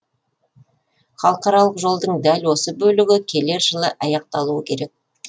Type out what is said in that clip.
халықаралық жолдың дәл осы бөлігі келер жылы аяқталуы керек